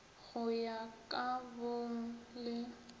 go ya ka bong le